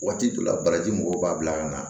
Waati dɔ la baraji mɔgɔw b'a bila ka na